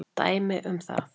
Dæmi um það